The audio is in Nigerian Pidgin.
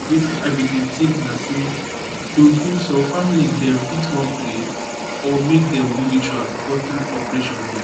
wetin i bin dey think na say true true some family dem fit wan pray or make dem do ritual before true operation dem